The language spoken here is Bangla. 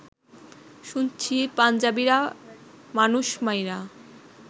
শুনছি পাঞ্জাবিরা মানুষ মাইরা